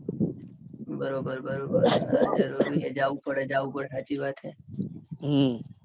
બરોબર બરોબર જરૂરી છે જરૂરી છે જવું પડે જવું પડે હાચી વાત